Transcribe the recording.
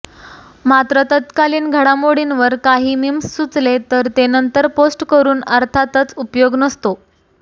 मात्र तत्कालीन घडामोडींवर काही मीम्स सुचले तर ते नंतर पोस्ट करून अर्थातच उपयोग नसतो